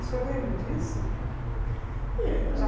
O senhor lembra disso? Eh ah